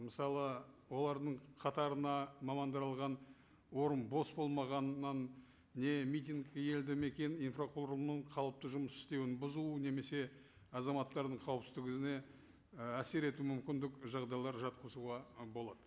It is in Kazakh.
мысалы олардың қатарына орын бос болмағаннан не митинг елді мекен инфрақұрылымының қалыпты жұмыс істеуін бұзу немесе азаматтардың қауіпсіздігіне і әсер ету мүмкіндік жағдайлар жатқызуға ы болады